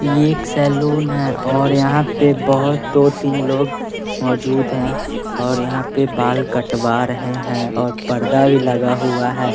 ये एक सैलून है और यहां पे बहुत दो तीन लोग मौजूद हैं और यहां पे बाल कटवा रहे हैं और पर्दा भी लगा हुआ है।